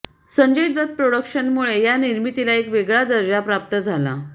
संजय दत्त प्रॉडक्शन्समुळे या निर्मितीला एक वेगळा दर्जा प्राप्त झाला